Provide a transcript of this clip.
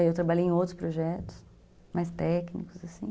Aí eu trabalhei em outros projetos, mais técnicos, assim.